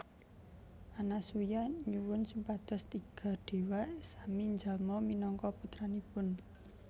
Anasuya nyuwun supados tiga déwa sami njalma minangka putranipun